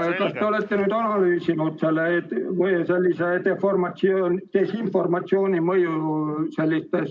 Kas te olete analüüsinud sellise desinformatsiooni mõju sellistes avalikes dokumentides?